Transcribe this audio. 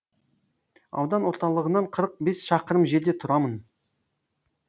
аудан орталығынан қырық бес шақырым жерде тұрамын